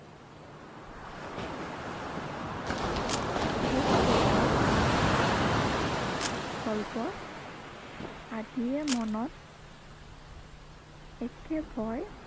ভূত প্ৰেতৰ গল্প আদিয়ে মনত একে ভয়